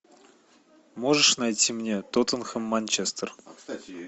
можешь найти мне тоттенхэм манчестер